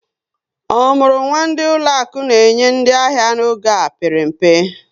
Omurunwa ndị ụlọaku na-enye ndị ahịa n'oge mpere mpe